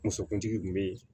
Musokuntigi kun be yen